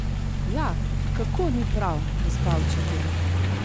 Ja, kako ni prav, gospa učiteljica?